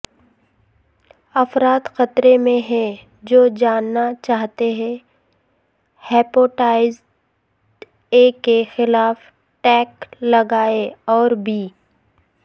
افراد خطرے میں ہیں جو جانا چاہئے ہیپاٹائٹس اے کے خلاف ٹیکے لگائے اور بی